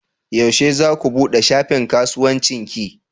Yaushe za ku buɗe shafin kasuwancin ki?